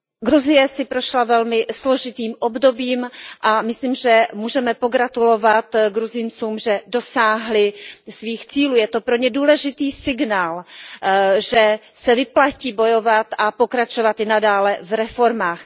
Gruzie si prošla velmi složitým obdobím a myslím, že můžeme pogratulovat Gruzíncům, že dosáhli svých cílů, je to pro ně důležitý signál, že se vyplatí bojovat a pokračovat i nadále v reformách.